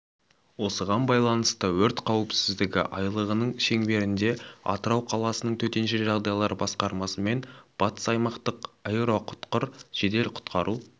осыған байланысты өрт қауіпсіздігі айлығының шеңберінде атырау қаласының төтенше жағдайлар басқармасымен батыс аймақтық аэроұтқыр жедел құтқару